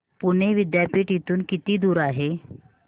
पुणे विद्यापीठ इथून किती दूर आहे